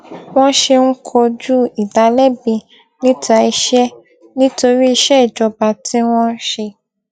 wọn ṣe ń kojú ìdálẹbi níta iṣẹ nítorí iṣẹ ìjọba tí wọn ń ṣe